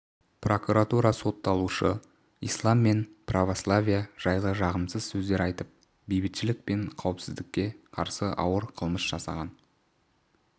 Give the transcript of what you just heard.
прокуратура сотталушы ислам мен православие жайлы жағымсыз сөздер айтып бейбітшілік пен қауіпсіздікке қарсы ауыр қылмыс жасаған